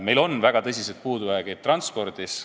Meil on väga tõsised puudujäägid transpordis.